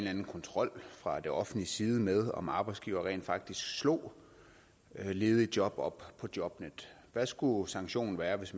anden kontrol fra det offentliges side med om arbejdsgivere rent faktisk slog ledige job op på jobnet hvad skulle sanktionen være hvis